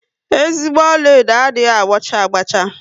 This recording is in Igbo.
Ezigbo ọlaedo adịghị ágbá cha agba cha